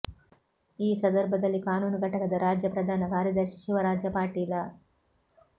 ಈ ಸಧರ್ಭದಲ್ಲಿ ಕಾನೂನು ಘಟಕದ ರಾಜ್ಯ ಪ್ರಧಾನ ಕಾರ್ಯದರ್ಶಿ ಶಿವರಾಜ ಪಾಟೀಲ